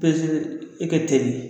len e ka teli